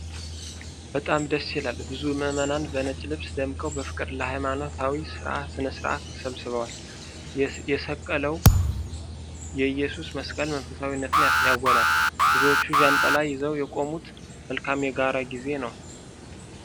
በጣም ደስ ይላል! ብዙ ምእመናን በነጭ ልብስ ደምቀው በፍቅር ለሃይማኖታዊ ስነ-ሥርዓት ተሰብስበዋል። የሰቀለው የኢየሱስ መስቀል መንፈሳዊነትን ያጎላል። ብዙዎቹ ዣንጥላ ይዘው የቆሙት መልካም የጋራ ጊዜ ነው።